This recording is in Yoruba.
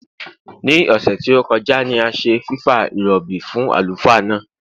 Ní òsè tí ó kojá ni a se fìfa ìròbì fún àlùfáà náà